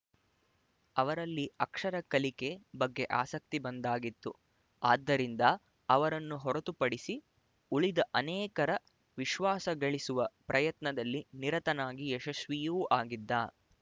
ಅವರಲ್ಲಿ ಅಕ್ಷರ ಕಲಿಕೆ ಬಗ್ಗೆ ಆಸಕ್ತಿ ಬಂದಾಗಿತ್ತು ಆದ್ದರಿಂದ ಅವರನ್ನು ಹೊರತುಪಡಿಸಿ ಉಳಿದ ಅನೇಕರ ವಿಶ್ವಾಸ ಗಳಿಸುವ ಪ್ರಯತ್ನದಲ್ಲಿ ನಿರತನಾಗಿ ಯಶಸ್ವಿಯೂ ಆಗಿದ್ದ